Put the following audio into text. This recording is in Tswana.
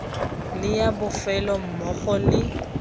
le ya bofelo mmogo le